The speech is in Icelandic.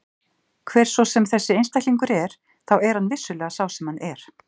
Hver svo sem þessi einstaklingur er þá er hann vissulega sá sem hann er.